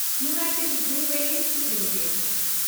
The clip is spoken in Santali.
United breweries limited